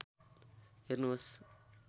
हेर्नुहोस्